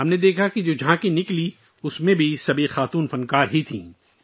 ہم نے دیکھا کہ گزرنے والی جھانکیوں میں بھی سبھی فن کار خواتین تھیں